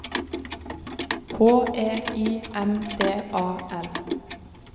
H E I M D A L